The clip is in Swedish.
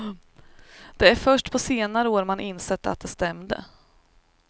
Det är först på senare år man insett att det stämde.